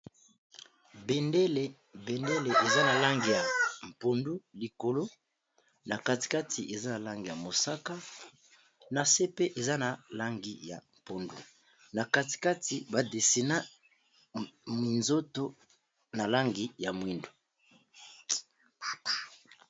Bendele eza na lange ya mpondu likolo, na katikati eza na langi ya mosaka, na se pe eza na langi ya mpondu, na katikati badesina minzoto na langi ya mwindu.